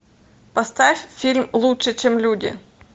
поставь фильм лучше чем люди